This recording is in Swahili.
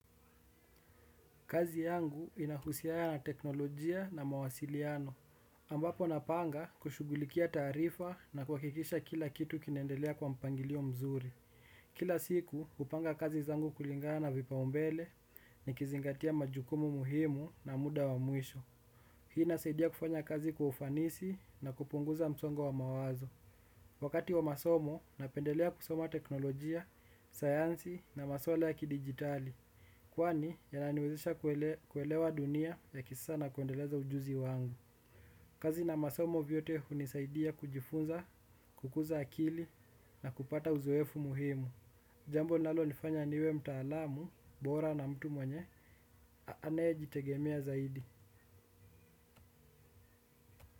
Kazi yangu inahusiana na teknolojia na mawasiliano. Ambapo napanga kushugulikia taarifa na kuhakikisha kila kitu kinaendelea kwa mpangilio mzuri. Kila siku kupanga kazi zangu kulingana vipao mbele nikizingatia majukumu muhimu na muda wa mwisho. Hii inasaidia kufanya kazi kwa ufanisi na kupunguza msongo wa mawazo. Wakati wa masomo napendelea kusoma teknolojia, sayansi na maswala ya ki dijtali. Kwani, ya naniwezisha kuelewa dunia ya kisasa na kuendeleza ujuzi wangu. Kazi na masomo vyote hunisaidia kujifunza, kukuza akili, na kupata uzoefu muhimu. Jambo nalonifanya niwe mtaalamu, bora na mtu mwenye, anayejitegemea zaidi.